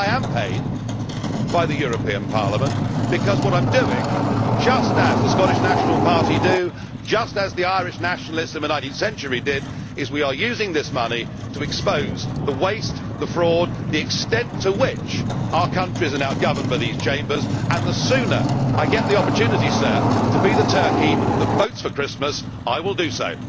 I am paid by the European Parliament and what I am doing just as the Scottish National Party do, and just as the Irish Nationalists in the 19th century did is using that money to expose the waste, the fraud and the extent to which our countries are now governed by these Chambers. The sooner I get the opportunity, Sir, to be the turkey that votes for Christmas, I will do so!